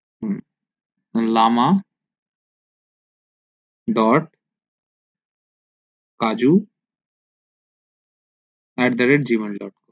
who lama dot kaju at gmail dot com